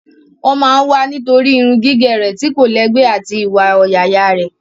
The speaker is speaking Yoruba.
Wọ́n máa ń wá nítorí irun gígẹ̀ rẹ̀ tí kò lẹ́gbẹ́ àti iwa ọ̀yàyà rẹ̀.